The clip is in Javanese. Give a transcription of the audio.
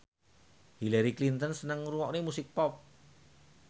Hillary Clinton seneng ngrungokne musik pop